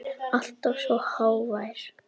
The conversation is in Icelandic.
Alltaf svo hógvær.